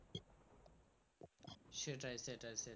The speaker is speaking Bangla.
সেটাই সেটাই সেটাই।